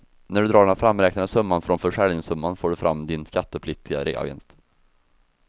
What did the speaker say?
När du drar den framräknade summan från försäljningssumman får du fram din skattepliktiga reavinst.